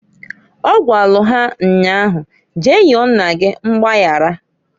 Ọ gwalụ ha nnyaa ahu, Jee yọọ nna gi mgbayara.